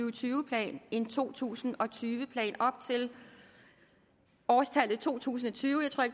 og tyve plan en to tusind og tyve plan op til årstallet to tusind og tyve